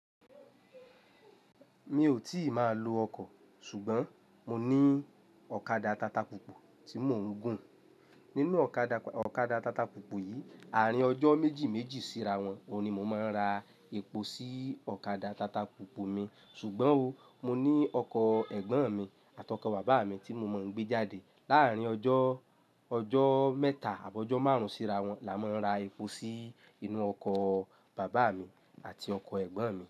Mi ò tíì máa lo ọkọ̀, ṣùgbọ́n mo ní ọ̀kadà tata púpọ̀ tí mò ń gùn. Nínú ọ̀kadà tata púpọ̀ yìí, àárín ọjọ́ méjì méjì síra wọn ni mo máa ń ra epo sí ọ̀kadà tata púpọ̀ mi. Ṣùgbọ́n o, mo ní ọkọ̀ ẹ̀gbọ́n mi àtọkọ̀ bàbá mi tí mo mọ̀ ń gbé jáde. Láàárín ọjọ́, ọjọ́ mẹ́ta àbi ọjọ́ márùn-ún síra wọn làá máa ń ra epo sí inú ọkọ̀ bàbá mi àti ọkọ̀ ẹ̀gbọ́n mi.